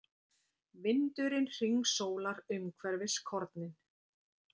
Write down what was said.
Vindurinn hringsólar umhverfis kornin.